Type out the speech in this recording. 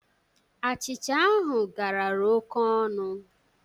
Achịcha ahụ garara oke ọnụ.